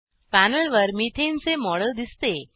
panel वर methane मिथेनचे चे मॉडेल दिसते